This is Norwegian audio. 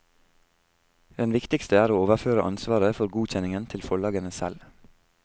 Den viktigste er å overføre ansvaret for godkjenningen til forlagene selv.